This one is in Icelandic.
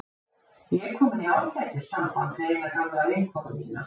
Ég er komin í ágætis samband við eina gamla vinkonu mína.